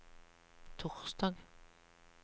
torsdag